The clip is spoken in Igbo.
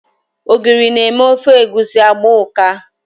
Ogiri na-eme ofe egusi agba ụka.